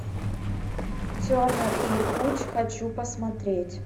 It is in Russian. тернер и хуч хочу посмотреть